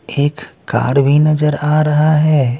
एककार भी नजर आ रहा हैं।